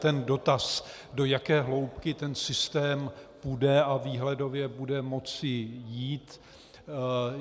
Ten dotaz, do jaké hloubky ten systém půjde a výhledově bude moci jít.